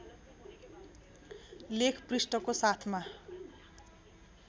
लेख पृष्ठको साथमा